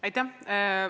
Aitäh!